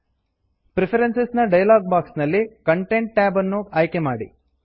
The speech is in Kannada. ಪ್ರಿಫೆರೆನ್ಸ್ ನ ಡೈಲಾಗ್ ಬಾಕ್ಸ್ ನಲ್ಲಿ ಕಾಂಟೆಂಟ್ ಕಂಟೆಂಟ್ ಟ್ಯಾಬ್ ಅನ್ನು ಆಯ್ಕೆ ಮಾಡಿ